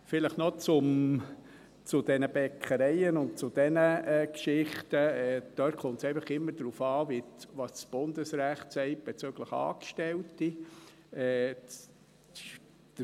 Vielleicht noch zu den Bäckereien und zu diesen Geschichten: Dort kommt es einfach immer darauf an, was das Bundesrecht bezüglich der Angestellten sagt.